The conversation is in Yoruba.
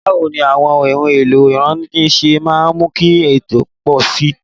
Báwo ni àwọn ohun èlò ìtọ́ni ṣe máa ń mú kí ẹ̀kọ́ ó pọ̀ sí i?